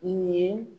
Nin ye